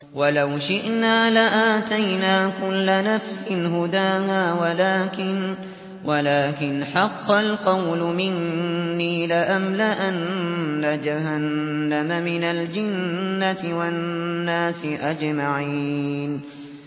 وَلَوْ شِئْنَا لَآتَيْنَا كُلَّ نَفْسٍ هُدَاهَا وَلَٰكِنْ حَقَّ الْقَوْلُ مِنِّي لَأَمْلَأَنَّ جَهَنَّمَ مِنَ الْجِنَّةِ وَالنَّاسِ أَجْمَعِينَ